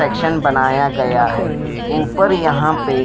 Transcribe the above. section बनाया गया है ऊपर यहां पे--